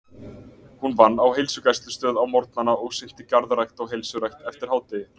Hún vann á heilsugæslustöð á morgnana og sinnti garðrækt og heilsurækt eftir hádegi.